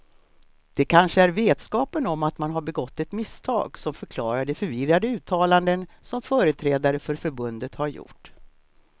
Det kanske är vetskapen om att man har begått ett misstag som förklarar de förvirrade uttalanden som företrädare för förbundet har gjort.